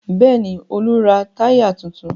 Bẹ́ẹ̀ ni, Olú ra tyre tuntun.